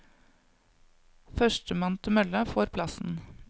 Første mann til mølla får plassen.